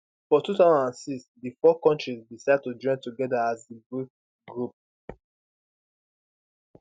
for 2006 di four kontris decide to join togeda as di bric group